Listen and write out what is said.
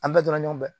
An bɛɛ tora ɲɔgɔn fɛ